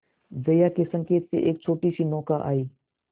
जया के संकेत से एक छोटीसी नौका आई